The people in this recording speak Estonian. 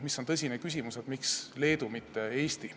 See on tõsine küsimus, et miks Leedu, mitte Eesti.